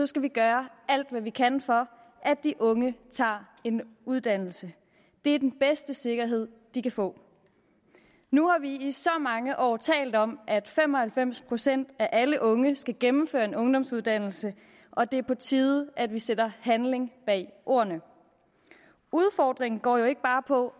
skal vi gøre alt hvad vi kan for at de unge tager en uddannelse det er den bedste sikkerhed de kan få nu har vi i så mange år talt om at fem og halvfems procent af alle unge skal gennemføre en ungdomsuddannelse og det er på tide at vi sætter handling bag ordene udfordringen går jo ikke bare på